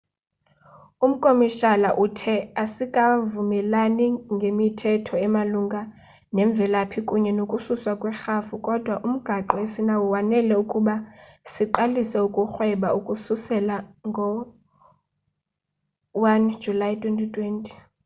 umkomishala uthe asikavumelani ngemithetho emalunga nemvelaphi kunye nokususwa kwerhafu kodwa umgaqo esinawo wanele ukuba siqalise ukurhweba ukususela ngo-1 julayi 2020